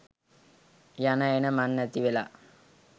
යන එන මං නැතිවෙලා